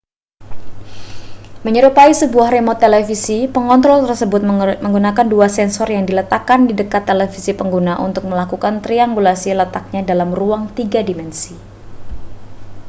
menyerupai sebuah remote televisi pengontrol tersebut menggunakan dua sensor yang diletakkan di dekat televisi pengguna untuk melakukan triangulasi letaknya dalam ruang tiga dimensi